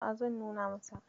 A'a, zan nuna masa.